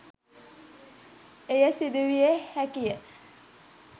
එය සිදු විය හැකිය.